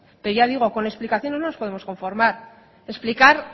pero ya digo con explicaciones no nos podemos conformar explicar